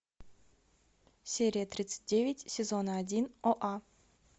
серия тридцать девять сезона один оа